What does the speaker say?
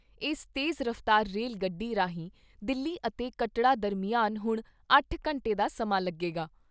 ਇਸ ਤੇਜ਼ ਰਫ਼ਤਾਰ ਰੇਲ ਗੱਡੀ ਰਾਹੀਂ ਦਿੱਲੀ ਅਤੇ ਕਟੱੜਾ ਦਰਮਿਆਨ ਹੁਣ ਅੱਠ ਘੰਟੇ ਦਾ ਸਮਾਂ ਲੱਗੇਗਾ।